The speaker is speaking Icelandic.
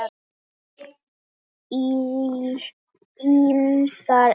Ýmsar eignir.